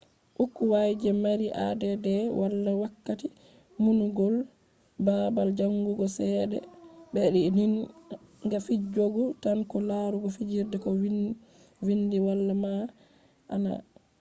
ukkwai je mari add wala wakkati numugo balbal jangugo sedea be be din ga fijugo tan ko larugo figirde ko vindi wala ma`ana